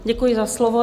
Děkuji za slovo.